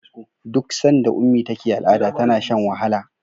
duk sanda ummi take al'ada tana Shan wahala